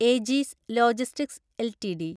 AG's Logistics LTD